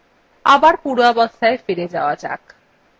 আবার পূর্বাবস্থায় ফিরে আসা যাক